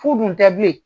Fu dun tɛ bilen